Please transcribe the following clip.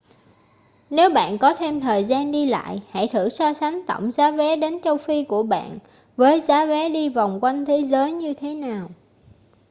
nếu bạn có thêm thời gian đi lại hãy thử so sánh tổng giá vé đến châu phi của bạn với giá vé đi vòng quanh thế giới như thế nào